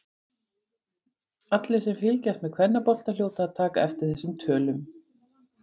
Allir sem fylgjast með kvennabolta hljóta að taka eftir þessum tölum.